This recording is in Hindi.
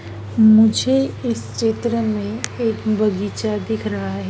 मुझे इस चित्र में एक बगीचा दिख रहा है।